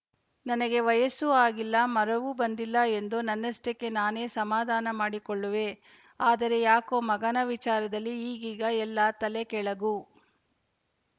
ನನಗೆ ವಯಸ್ಸೂ ಆಗಿಲ್ಲ ಮರ ವೂ ಬಂದಿಲ್ಲ ಎಂದು ನನ್ನಷ್ಟಕ್ಕೆ ನಾನೇ ಸಮಾಧಾನ ಮಾಡಿಕೊಳ್ಳುವೆ ಆದರೆ ಯಾಕೋ ಮಗನ ವಿಚಾರದಲ್ಲಿ ಈಗೀಗ ಎಲ್ಲಾ ತಲೆ ಕೆಳಗು